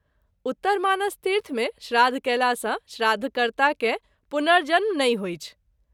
उत्तरमानसतीर्थ मे श्राद्ध कएला सँ श्राद्ध कर्ता के पुनर्जन्म नहिं होइछ।